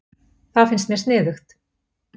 Það finnst mér sniðugt.